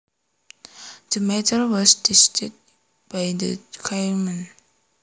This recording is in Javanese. The matter was decided by the chairman